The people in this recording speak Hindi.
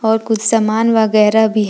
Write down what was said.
और कुछ सामान वगैरा भी हैं।